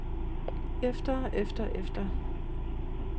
efter efter efter